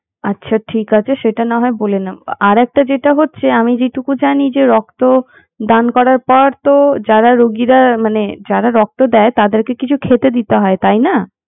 আচ্ছা ঠিক আছে সেটা নাহয় বলে নেবো আর একটা যেটা হচ্ছে আমি যেই টুকু জানি যে রক্ত দান করার পর তো যারা রোগিরা মানে যারা রক্ত দেয় তাদেরকে তো কিছু খেতে দিতে হয় নাকি